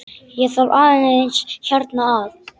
Ég þarf aðeins hérna að.